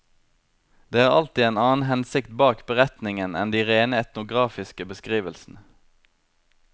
Det er alltid en annen hensikt bak beretningen enn de rene etnografiske beskrivelsene.